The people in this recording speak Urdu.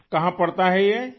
یہ کہاں پڑتا ہے یہ؟